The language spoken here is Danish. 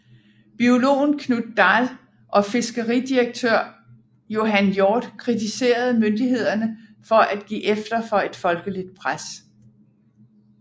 Biologen Knut Dahl og fiskeridirektør Johan Hjort kritiserede myndighederne for at give efter for et folkeligt pres